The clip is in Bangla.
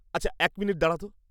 আচ্ছা, এক মিনিট দাঁড়া তো।